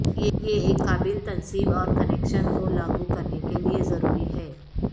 یہ ایک قابل تنصیب اور کنکشن کو لاگو کرنے کے لئے ضروری ہے